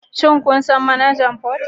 Shin kun san Manajan Port?